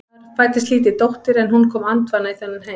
Það fæddist lítil dóttir en hún kom andvana í þennan heim.